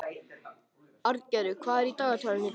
Arngerður, hvað er í dagatalinu í dag?